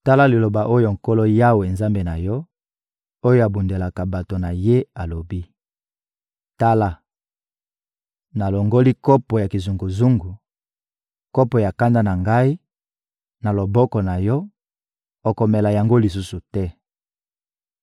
Tala liloba oyo Nkolo Yawe, Nzambe na yo, oyo abundelaka bato na Ye, alobi: «Tala, nalongoli kopo ya kizunguzungu, kopo ya kanda na Ngai, na loboko na yo, okomela yango lisusu te.